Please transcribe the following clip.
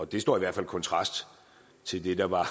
det står i hvert fald i kontrast til det der var